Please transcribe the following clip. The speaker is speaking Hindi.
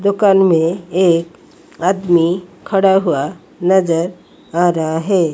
दुकान में एक आदमी खड़ा हुआ नजर आ रहा है।